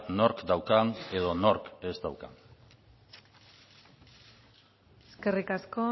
nork daukan edo nork ez daukan eskerrik asko